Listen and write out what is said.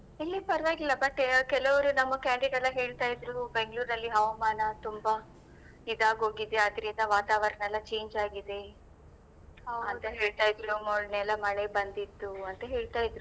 ಇಲ್ಲಿ ಪರ್ವಾಗಿಲ್ಲ but ಕೆಲವರು ನಮ್ಮ candidate ಎಲ್ಲ ಹೇಳ್ತಾ ಇದ್ರು ಬೆಂಗ್ಳುರಲ್ಲಿ ಹವಾಮಾನ ತುಂಬಾ ಇದಾಗೋಗಿದೆ ಅದ್ರಿಂದ ವಾತಾವರಣ ಎಲ್ಲ change ಆಗಿದೆ ಅಂತ ಹೇಳ್ತಾ ಇದ್ರು ಮೊನ್ನೆಯೆಲ್ಲ ಮಳೆ ಬಂದಿತ್ತು ಅಂತ ಹೇಳ್ತಾ ಇದ್ರು.